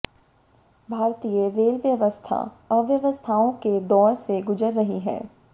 भारतीय रेल व्यवस्था अव्यवस्थाओं के दौर से गुजर रही है